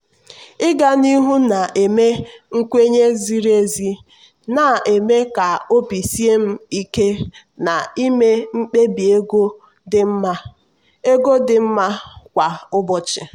ịga n'ihu na-eme nkwenye ziri ezi na-eme ka obi sie m ike na-ịme mkpebi ego dị mma ego dị mma kwa ụbọchị.